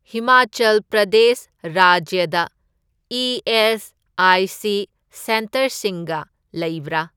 ꯍꯤꯃꯥꯆꯜ ꯄ꯭ꯔꯗꯦꯁ ꯔꯥꯖ꯭ꯌꯗ ꯏ.ꯑꯦꯁ.ꯑꯥꯏ.ꯁꯤ. ꯁꯦꯟꯇꯔꯁꯤꯡꯒ ꯂꯩꯕ꯭ꯔꯥ?